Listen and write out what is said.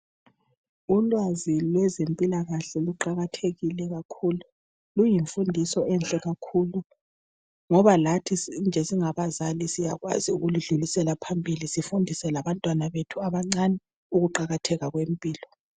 Ulwazi lwezempilakahle luqakathekile kakhulu. Kuyimfundiso enhle kakhulu ngoba lathi sinje singabazali siyakwazi ukuludlulisela phambili sifundise labantwana bethu abancani ukuqakatheka kwempilo.